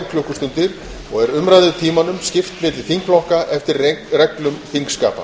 klukkustundir og er umræðutímanum skipt milli þingflokka eftir reglum þingskapa